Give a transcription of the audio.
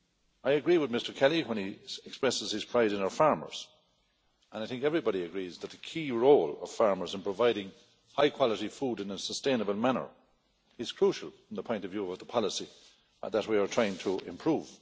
I agree with Mr Kelly, when he expresses his pride in our farmers, and I think everybody agrees that the key role of farmers in providing high quality food in a sustainable manner is crucial from the point of view of the policy that we are trying to improve.